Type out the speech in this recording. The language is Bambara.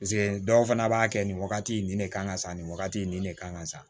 Paseke dɔw fana b'a kɛ nin wagati nin de kan ka sa nin wagati in ne kan ka sa